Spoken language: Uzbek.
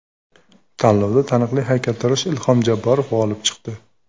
Tanlovda taniqli haykaltarosh Ilhom Jabborov g‘olib chiqdi .